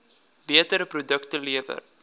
beter produkte lewer